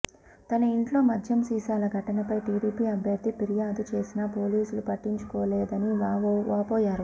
తన ఇంట్లో మద్యం సీసాల ఘటనపై టీడీపీ అభ్యర్థి ఫిర్యాదు చేసినా పోలీసులు పట్టించుకోలేదని వాపోయారు